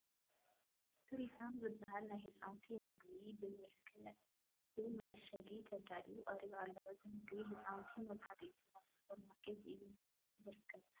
ስሪፋም ዝበሃል ናይ ህፃውንቲ ምግቢ ብምልኩዕ መዓሸጊ ተዳልዩ ቀሪቡ ኣሎ፡፡ እዚ ምግቢ ህፃናት መብዛሕትኡ ጊዜ ኣብ ሱፐር ማርኬታት እዩ ዝርከብ፡፡